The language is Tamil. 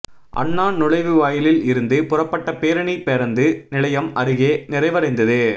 அண்ணா நுழைவாயிலில் இருந்து புறப்பட்ட பேரணி பேருந்து நிலையம் அருகே நிறைவடைந்தது